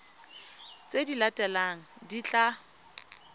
tse di latelang di tla